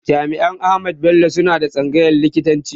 Jami'ar Ahmadu Bello suna da tsangayn likitanci